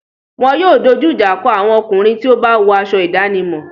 Wọn yóò dojú ìjà kọ àwọn ọkùnrin tí ó bá wọ aṣọ ìdánimọ̀.